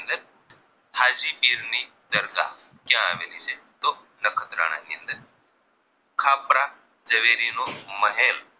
ઝવેરીનો મહેલ